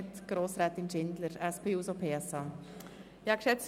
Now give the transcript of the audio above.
Zuerst hat Grossrätin Schindler hat das Wort.